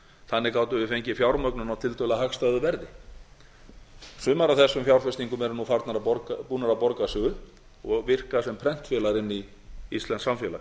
þannig gátum við fengið fjármögnun á tiltölulega hagstæðu verði sumar af þessum fjárfestingum eru nú búnar að borga sig upp og virka sem prentvélar inn í íslenskt samfélag